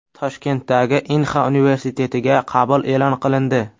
Toshkentdagi Inxa universitetiga qabul e’lon qilindi.